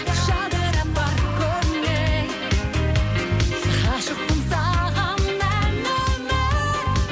жадырап бар көңіл ғашықпын саған ән өмір